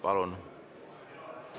Palun!